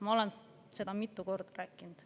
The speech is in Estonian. Ma olen seda mitu korda rääkinud.